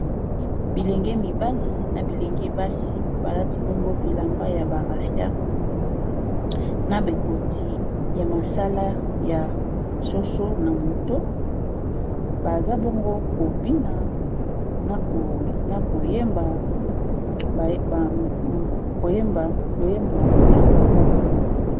Bilenge mibali na bilenge basi balati bongo bilamba ya ba rafia, na be koti ya masala ya soso na moto baza bongo ko bina na koyemba loyembo ya bokoko.